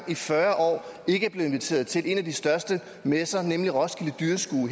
i fyrre år ikke er blevet inviteret til en af de største messer nemlig roskilde dyrskue